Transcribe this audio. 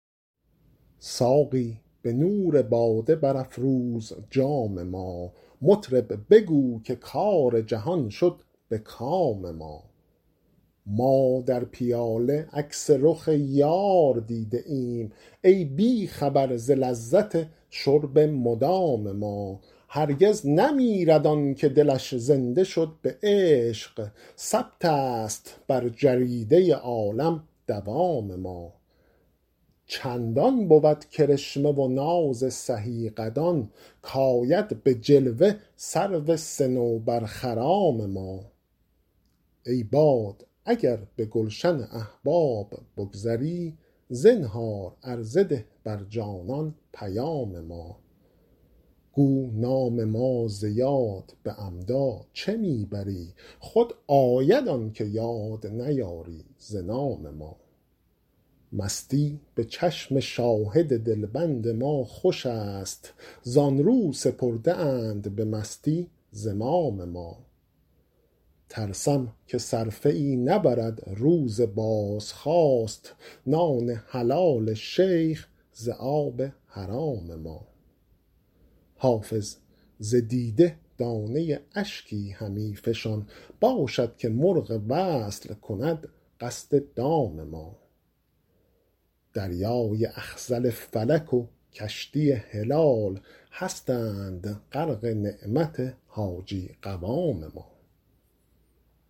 ساقی به نور باده برافروز جام ما مطرب بگو که کار جهان شد به کام ما ما در پیاله عکس رخ یار دیده ایم ای بی خبر ز لذت شرب مدام ما هرگز نمیرد آن که دلش زنده شد به عشق ثبت است بر جریده عالم دوام ما چندان بود کرشمه و ناز سهی قدان کآید به جلوه سرو صنوبرخرام ما ای باد اگر به گلشن احباب بگذری زنهار عرضه ده بر جانان پیام ما گو نام ما ز یاد به عمدا چه می بری خود آید آن که یاد نیاری ز نام ما مستی به چشم شاهد دلبند ما خوش است زآن رو سپرده اند به مستی زمام ما ترسم که صرفه ای نبرد روز بازخواست نان حلال شیخ ز آب حرام ما حافظ ز دیده دانه اشکی همی فشان باشد که مرغ وصل کند قصد دام ما دریای اخضر فلک و کشتی هلال هستند غرق نعمت حاجی قوام ما